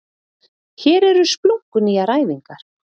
Hér eru splunkunýjar æfingar